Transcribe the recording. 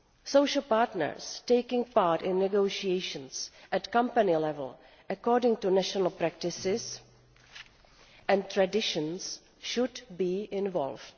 Social partners taking part in negotiations at company level, according to national practices and traditions, should be involved.